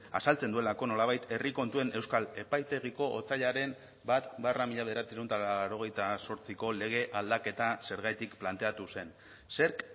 azaltzen duelako nolabait herri kontuen euskal epaitegiko otsailaren bat barra mila bederatziehun eta laurogeita zortziko lege aldaketa zergatik planteatu zen zerk